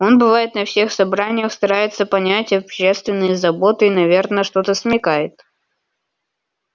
он бывает на всех собраниях старается понять общественные заботы и наверно что-то смекает